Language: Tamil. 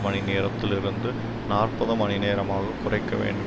மணி நேரத்தில் இருந்து நாற்பது மணி நேரமாக குறைக்க வேண்டும்